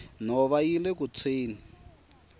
nhova yile ku tshweni